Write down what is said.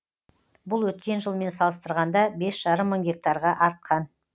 бұл өткен жылмен салыстырғанда бес жарым мың гектарға артқан